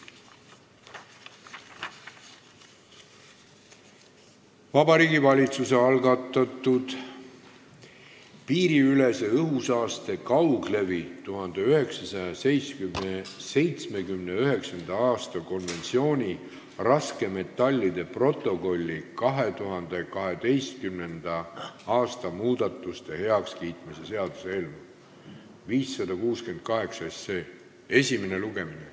Vabariigi Valitsuse algatatud piiriülese õhusaaste kauglevi 1979. aasta konventsiooni raskmetallide protokolli 2012. aasta muudatuste heakskiitmise seaduse eelnõu 568 esimene lugemine.